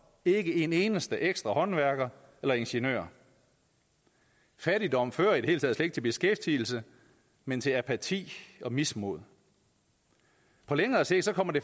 ikke en eneste ekstra håndværker eller ingeniør fattigdom fører i det hele taget ikke til beskæftigelse men til apati og mismod på længere sigt kommer det